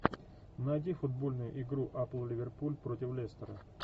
найди футбольную игру апл ливерпуль против лестера